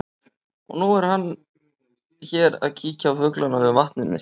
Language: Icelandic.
Og nú er hann hér að kíkja á fuglana við vatnið mitt.